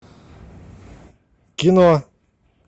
кино